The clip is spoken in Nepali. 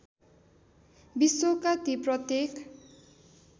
विश्वका ती प्रत्येक